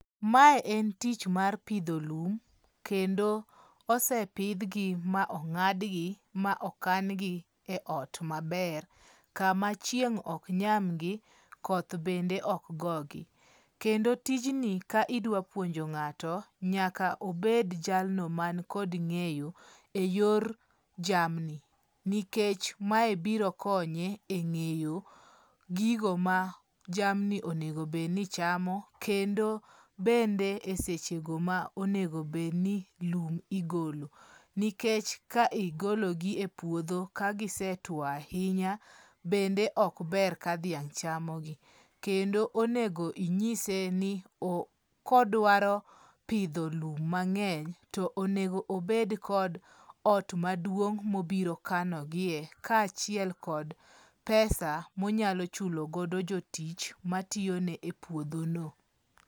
Mae en tich mar pidho lum. Kendo osepidhgi ma ong'adgi ma okangi e ot maber kama chieng ok nyamgi, koth bende ok go gi. Kendo tijni ka idwa puonjo ng'ato, nyaka obed jalno man kod ng'eyo e yor jamni. Nikech mae biro konye e ng'eyo gigo ma jamni onego bed ni chamo. Kendo bende e seche go ma onego bed ni lum igolo. Nikech ka igologi e puodho ka gise tuo ahinya, bende ok ber ka dhiang' chamogi. Kendo onego inyise ni kodwaro pidho lum mang'eny to onego obed kod ot maduong' mobiro kanogie ka achiel kod pesa monyalo chulogodo jotich matiyone e puodho no.